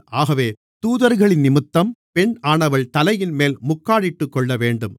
ஆகவே தூதர்களினிமித்தம் பெண்ணானவள் தலையின்மேல் முக்காடிட்டுக்கொள்ளவேண்டும்